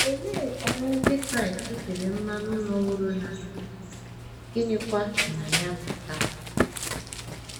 Olee ọrụ Ndị Kraịst e tere mmanụ nọworo na - eduzi, gịnịkwa si na ya pụta?